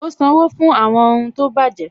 Ó sanwó fún àwọn ohun tó bàjẹ́